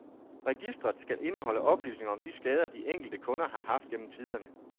Registret skal indeholde oplysninger om de skader, de enkelte kunder har haft gennem tiderne.